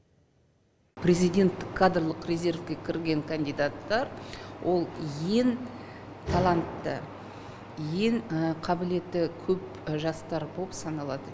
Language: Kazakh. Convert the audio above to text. президенттік кадрлық резервке кірген кандидаттар ол ең талантты ең қабілеті көп жастар боп саналады